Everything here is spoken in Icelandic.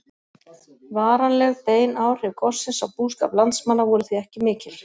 Varanleg bein áhrif gossins á búskap landsmanna voru því ekki mikil.